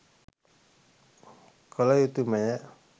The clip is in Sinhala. කළ යුතුමය.